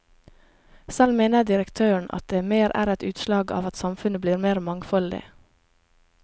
Selv mener direktøren at det mer er et utslag av at samfunnet blir mer mangfoldig.